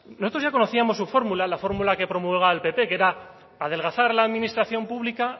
nosotros ya conocíamos su fórmula la fórmula que promulgaba el pp que era adelgazar la administración pública